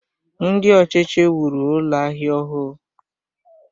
Ndị ọchịchị wuru Ụlọ ahịa ọhụụ